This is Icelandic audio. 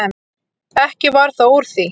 Ekki varð þó úr því.